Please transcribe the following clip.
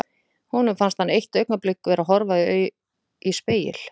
Honum fannst hann eitt augnablik vera að horfa í spegil.